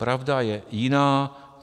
Pravda je jiná.